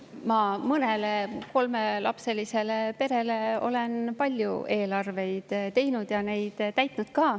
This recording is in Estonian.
Ma mõnele kolmelapselisele perele olen palju eelarveid teinud ja neid täitnud ka.